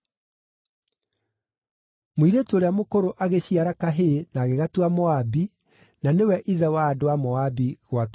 Mũirĩtu ũrĩa mũkũrũ agĩciara kahĩĩ na agĩgatua Moabi, na nĩwe ithe wa andũ a Moabi gwata ũmũthĩ.